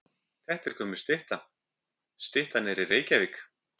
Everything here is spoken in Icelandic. Þetta er gömul stytta. Styttan er í Reykjavík.